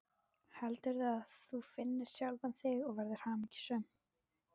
Heldur að þú finnir sjálfan þig og verðir hamingjusöm.